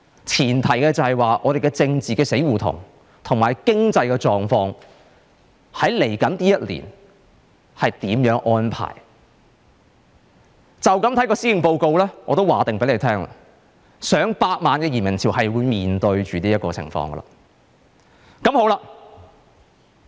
前提是香港的政治死胡同和經濟狀況在未來1年有甚麼安排，從這份施政報告，我可以預先告訴大家，我們要面對上百萬人的移民潮。